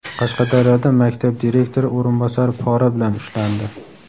Qashqadaryoda maktab direktori o‘rinbosari pora bilan ushlandi.